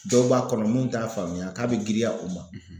dɔw b'a kɔnɔ mun t'a faamuya k'a be girinya u ma